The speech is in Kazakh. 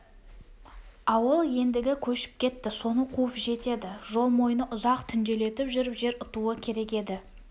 ауыл ендігі көшіп кетті соны қуып жетеді жол мойны ұзақ түнделетіп жүріп жер ұтуы керек еді